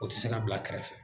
O tɛ se ka bila kɛrɛfɛ.